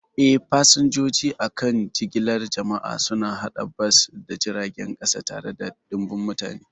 Eh, fasinjoji a kan jigilar jama'a suna hada bas da jiragen kasa tare da ɗimbin mutane.